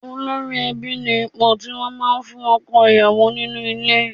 Olórí ẹbí ni ipò tí wọ́n máa ń fún ọkọ ìyàwó nínú ilé